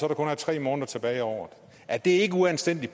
er tre måneder tilbage af året er det ikke uanstændig